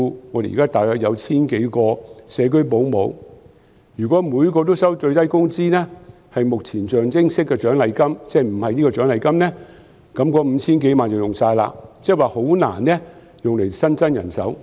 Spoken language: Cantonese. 我們現時大約有 1,000 多個社區保姆，如果每人都收取最低工資，作為象徵式的獎勵金，否則，那 5,000 多萬元便會花光，即很難用以新增人手。